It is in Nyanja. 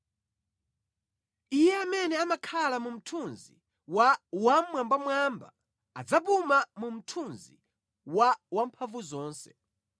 Iye amene amakhala mu mthunzi wa Wammwambamwamba adzapuma mu mthunzi wa Wamphamvuzonse.